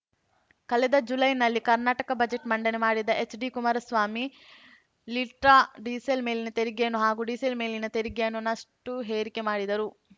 ಕಳೆದ ಜುಲೈನಲ್ಲಿ ಕರ್ನಾಟಕ ಬಜೆಟ್‌ ಮಂಡನೆ ಮಾಡಿದ್ದ ಎಚ್‌ಡಿ ಕುಮಾರಸ್ವಾಮಿ ಲೀಟ್ರಾ ಡೀಸೆಲ್‌ ಮೇಲಿನ ತೆರಿಗೆಯನ್ನು ಹಾಗೂ ಡೀಸೆಲ್‌ ಮೇಲಿನ ತೆರಿಗೆಯನ್ನು ನಷ್ಟುಏರಿಕೆ ಮಾಡಿದ್ದರು